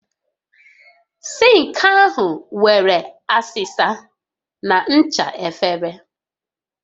Sink ahụ nwere asịsa na ncha efere